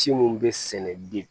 Ci minnu bɛ sɛnɛ den